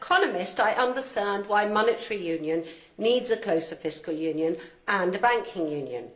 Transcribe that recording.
As an economist I understand why monetary union needs a closer fiscal union and a banking union.